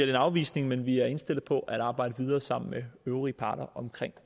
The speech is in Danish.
en afvisning men vi er indstillet på at arbejde videre sammen med de øvrige parter om